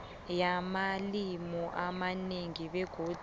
yamalimi amanengi begodu